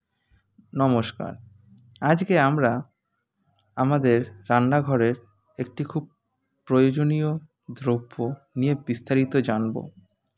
নমস্কার আজকে আমরা আমাদের রান্নাঘরের একটি খুব প্রয়োজনীয় দ্রব্য নিয়ে বিস্তারিত জানবো